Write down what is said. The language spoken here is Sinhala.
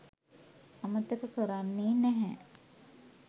අමතක කරන්නේ නැහැ.